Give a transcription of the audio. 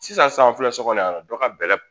Sisan filɛ kɔni dɔ ka bɛlɛ